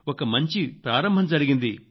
ఒక మంచి ప్రారంభం జరిగింది